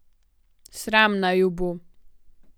Sram naj ju bo.